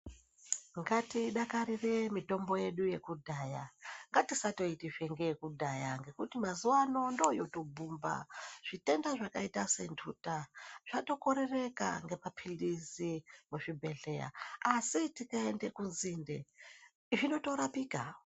Ngatidakarire mitombo yedu yakudhaya ngatisatoitizve ngeyekudhaya. ngekutimazuva ano ndoyoto bhumba zvitenda zvakaita sentuta katokorereka ngemaphirizi muzvibhedhleya. Asi tikaende kunzinde zvinotorapika.